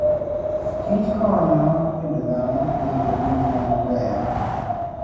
Kich konyo dend dhano bedo gi ngima maber.